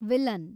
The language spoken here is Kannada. ವಿಲನ್